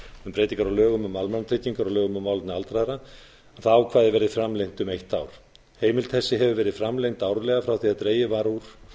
um breytingar á lögum um almannatryggingar og lögum um málefni aldraðra að það ákvæði verði framlengt um eitt ár heimild þessi hefur verið framlengd árlega frá því dregið var úr